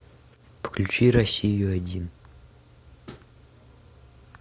включи россию один